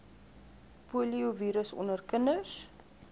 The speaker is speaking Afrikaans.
poliovirus onder kinders